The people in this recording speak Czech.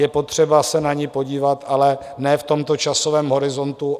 Je potřeba se na ni podívat, ale ne v tomto časovém horizontu.